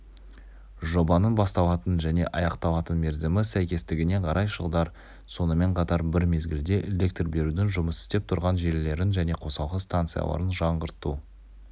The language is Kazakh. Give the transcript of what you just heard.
жобаның басталатын және аяқталатын мерзімі сәйкестігіне қарай жылдар сонымен қатар бір мезгілде электр берудің жұмыс істеп тұрған желілерін және қосалқы станцияларын жаңғырту